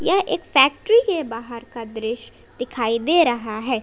यह एक फैक्ट्री के बाहर का दृश्य दिखाई दे रहा है।